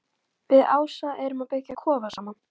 Við Ása erum að byggja kofa saman